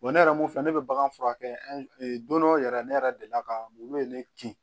ne yɛrɛ mun filɛ ne bɛ bagan furakɛ don dɔ yɛrɛ ne yɛrɛ delila ka mun de kin